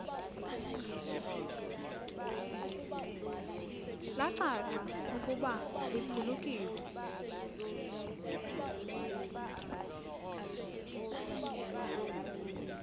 lacaca ukuba liphulukiwe